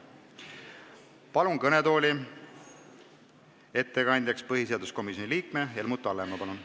Palun ettekandeks kõnetooli põhiseaduskomisjoni liikme Helmut Hallemaa!